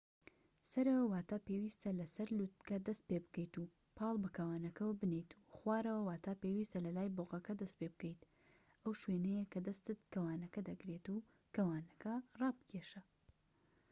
سەرەوە واتا پێویستە لە سەر لووتکە دەست پێبکەیت و پاڵ بە کەوانەکەوە بنێت، و خوارەوە واتا پێویستە لە لای بۆقەکە دەست پێبکەیت ئەو شوێنەیە کە دەستت کەوانەکە دەگرێت و کەوانەکە ڕابکێشە